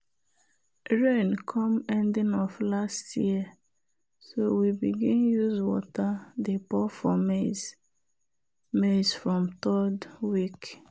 rain come ending of last year so we begin use water dey pour for maize maize from third week.